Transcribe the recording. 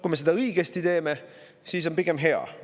Kui me seda õigesti teeme, siis on see pigem hea.